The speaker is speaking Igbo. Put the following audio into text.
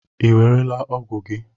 Ị ewerela ọgwụ gị?